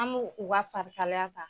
An b'u u ka farikalaya ta